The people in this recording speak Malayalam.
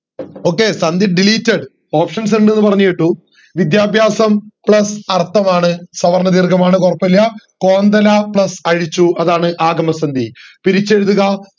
okay സന്ധി deleted options ഇണ്ട് എന്ന് പറഞ്ഞു കേട്ടു വിദ്യാഭ്യാസം plus അർത്ഥം ആണ് സവർണ ദീർഘമാണ് കൊഴപ്പോല്ല കോന്തല plus അതാണ് ആഗമ സന്ധി പിരിച്ചെഴുതുക